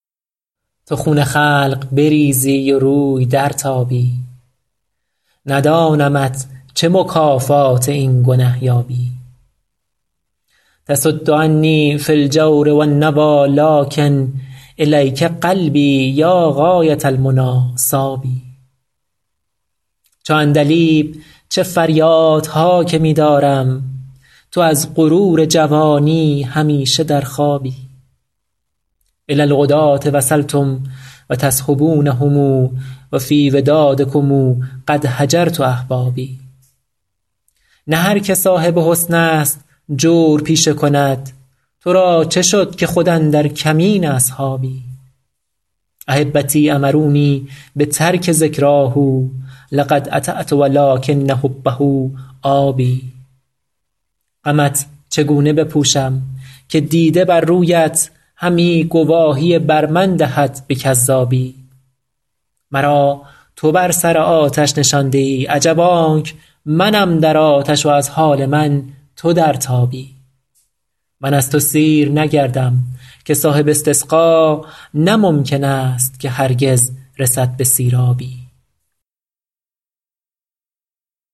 تو خون خلق بریزی و روی درتابی ندانمت چه مکافات این گنه یابی تصد عنی فی الجور و النویٰ لٰکن إلیک قلبی یا غایة المنیٰ صاب چو عندلیب چه فریادها که می دارم تو از غرور جوانی همیشه در خوابی إلی العداة وصلتم و تصحبونهم و فی ودادکم قد هجرت أحبابی نه هر که صاحب حسن است جور پیشه کند تو را چه شد که خود اندر کمین اصحابی أحبتی أمرونی بترک ذکراه لقد أطعت و لٰکن حبه آب غمت چگونه بپوشم که دیده بر رویت همی گواهی بر من دهد به کذابی مرا تو بر سر آتش نشانده ای عجب آنک منم در آتش و از حال من تو در تابی من از تو سیر نگردم که صاحب استسقا نه ممکن است که هرگز رسد به سیرابی